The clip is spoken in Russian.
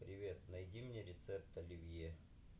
привет найди мне рецепт оливье